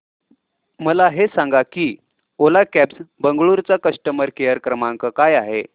मला हे सांग की ओला कॅब्स बंगळुरू चा कस्टमर केअर क्रमांक काय आहे